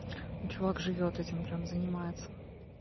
ну чувак живёт этим прямо занимается